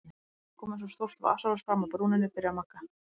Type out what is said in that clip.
Allt í einu kom eins og stórt vasaljós fram af brúninni, byrjar Magga.